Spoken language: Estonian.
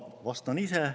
Vastan ise.